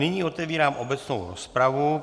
Nyní otevírám obecnou rozpravu.